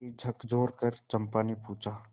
उसे झकझोरकर चंपा ने पूछा